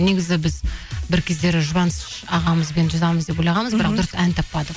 негізі біз бір кездері жұбаныш ағамызбен жазамыз деп ойлағанбыз бірақ дұрыс ән таппадық